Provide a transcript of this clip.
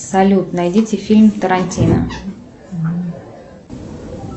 салют найдите фильм тарантино